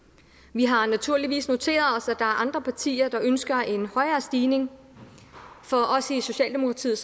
vi har naturligvis noteret os er andre partier der ønsker en højere stigning for os i socialdemokratiet